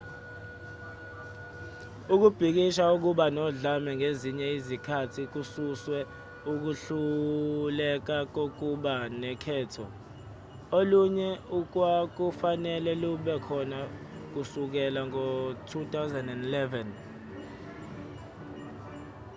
ukubhikisha okuba nodlame ngezinye izikhathi kususwe ukuhluleka kokuba nokhetho olunye okwakufanele lube khona kusukela ngo-2011